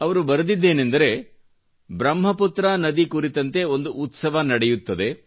ಅವರು ಬರೆದಿದ್ದೇನಂದರೆ ಬ್ರಹ್ಮ ಪುತ್ರ ನದಿ ಕುರಿತಂತೆ ಒಂದು ಉತ್ಸವ ನಡೆಯುತ್ತಿದೆ